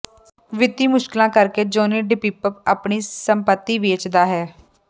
ਵਿੱਤੀ ਮੁਸ਼ਕਲਾਂ ਕਰਕੇ ਜੌਨੀ ਡਿਪੱਪ ਆਪਣੀ ਸੰਪਤੀ ਵੇਚਦਾ ਹੈ